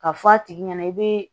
Ka fɔ a tigi ɲɛna i bɛ